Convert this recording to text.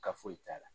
Ka foyi t'a la